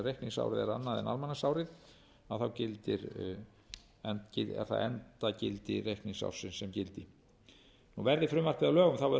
þar sem reikningsárið er annað en almanaksárið er það endagildi reikningsársins sem gildir verði frumvarpið að lögum verður